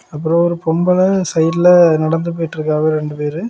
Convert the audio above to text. அப்புறம் ஒரு பொம்பள சைடுல நடந்து போயிட்ருக்காவ ரெண்டு பேரு.